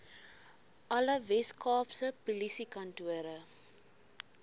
alle weskaapse polisiekantore